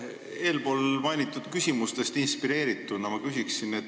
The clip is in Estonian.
Eespool mainitud küsimustest inspireerituna küsin ma nii.